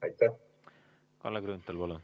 Kalle Grünthal, palun!